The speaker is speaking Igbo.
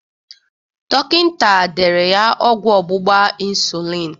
Dọkịnta dere ya ọgwụ ọgbụgba insulin